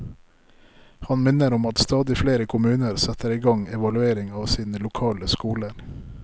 Han minner om at stadig flere kommuner setter i gang evaluering av sine lokale skoler.